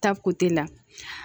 Ta kote la